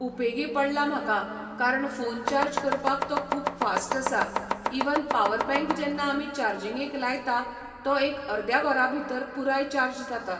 उपेगी पडला म्हाका कारण फोन चार्ज करपाक तो खूब फास्ट आसा इवन पावर बँक जेन्ना आमी चार्जिंगेक लायता तो एक अर्द्या वरा भितर पूराय चार्ज जाता.